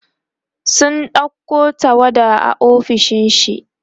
sun ɗauko tawada a ofishin shi